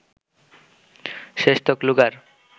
শেষতক luger